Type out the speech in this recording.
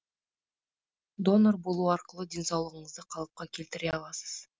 донор болу арқылы денсаулығыңызды қалыпқа келтіре аласыз